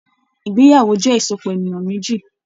Ìgbéyàwó jẹ ìsopọ̀ ènìyàn méjì.